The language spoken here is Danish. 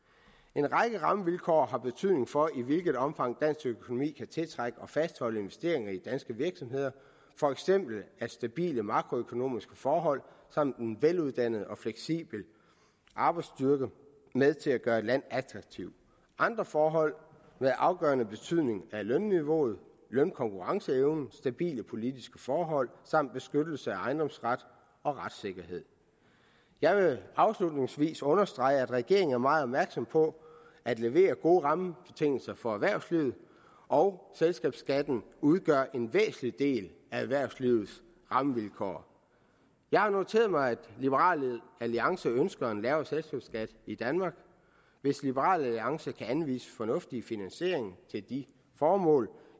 en række rammevilkår har betydning for i hvilket omfang dansk økonomi kan tiltrække og fastholde investeringer i danske virksomheder for eksempel er stabile makroøkonomiske forhold samt en veluddannet og fleksibel arbejdsstyrke med til at gøre et land attraktivt andre forhold med afgørende betydning er lønniveauet lønkonkurrenceevnen stabile politiske forhold samt beskyttelse af ejendomsret og retssikkerhed jeg vil afslutningsvis understrege at regeringen er meget opmærksom på at levere gode rammebetingelser for erhvervslivet og selskabsskatten udgør en væsentlig del af erhvervslivets rammevilkår jeg har noteret mig at liberal alliance ønsker en lavere selskabsskat i danmark hvis liberal alliance kan anvise en fornuftig finansiering til det formål